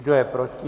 Kdo je proti?